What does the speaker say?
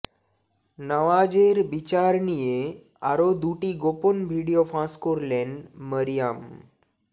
নওয়াজের বিচার নিয়ে আরও দুটি গোপন ভিডিও ফাঁস করলেন মরিয়াম